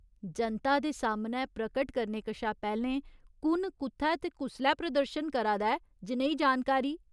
जनता दे सामनै प्रकट करने कशा पैह्‌लें कु'न कु'त्थै ते कुसलै प्रदर्शन करा दा ऐ जनेही जानकारी ?